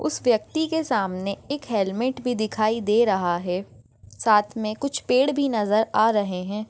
उस व्यक्ति के सामने एक हेलमेट भी दिखाई दे रहा है साथ मे कुछ पेड़ भी नजर आ रहे है।